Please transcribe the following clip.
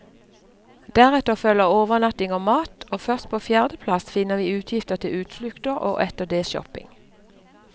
Deretter følger overnatting og mat, og først på fjerde plass finner vi utgifter til utflukter og etter det shopping.